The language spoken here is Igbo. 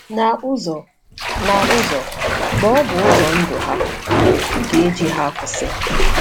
Na “ụzọ,” Na “ụzọ,” ma ọ bụ ụzọ ndụ ha, ga-eji ha akwụsị.